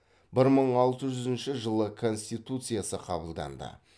бір мың алты жүзінші жылы конституциясы қабылданды